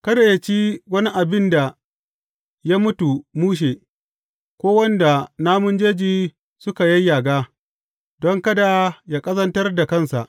Kada yă ci wani abin da ya mutu mushe, ko wanda namun jeji suka yayyaga, don kada yă ƙazantar da kansa.